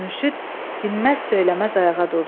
Mürşüd dinməz söyləməz ayağa durdu.